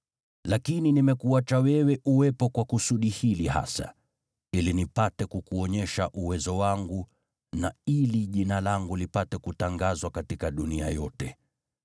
Lakini nimekuinua wewe kwa kusudi hili hasa, ili nipate kukuonyesha uwezo wangu, na ili Jina langu lipate kutangazwa duniani yote.